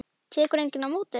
Tekur enginn á móti þér?